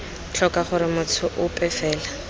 tlhoka gore motho ope fela